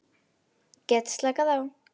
Get slakað á.